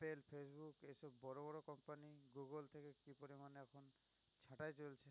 সাটাই চলছে